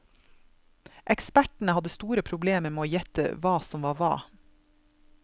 Ekspertene hadde store problemer med å gjette hva som var hva.